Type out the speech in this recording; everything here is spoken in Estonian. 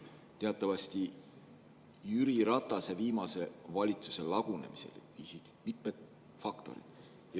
Teatavasti viisid Jüri Ratase viimase valitsuse lagunemiseni mitmed faktorid.